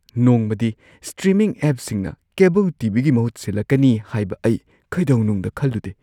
ꯅꯣꯡꯃꯗꯤ ꯁ꯭ꯇ꯭ꯔꯤꯃꯤꯡ ꯑꯦꯞꯁꯤꯡꯅ cable TV. ꯒꯤ ꯃꯍꯨꯠ ꯁꯤꯜꯂꯛꯀꯅꯤ ꯍꯥꯏꯕ ꯑꯩ ꯀꯩꯗꯧꯅꯨꯡꯗ ꯈꯜꯂꯨꯗꯦ꯫